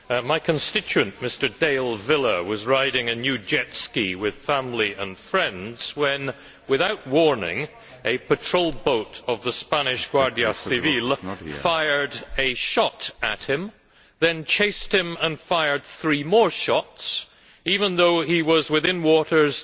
My constituent, Mr Dale Villa, was riding a new jet ski with family and friends when, without warning, a patrol boat of the Spanish Guardia Civil fired a shot at him, then chased him and fired three more shots, even though he was within waters